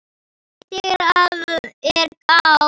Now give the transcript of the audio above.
Ekki þegar að er gáð.